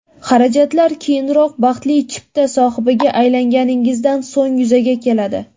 Xarajatlar keyinroq, baxtli chipta sohibiga aylanganingizdan so‘ng yuzaga keladi.